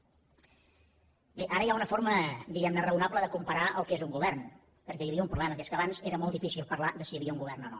bé ara hi ha una forma diguem ne raonable de comparar el que és un govern perquè hi havia un problema que és que abans era molt difícil parlar de si hi havia un govern o no